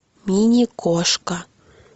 мини кошка